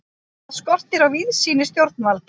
Þar skortir á víðsýni stjórnvalda.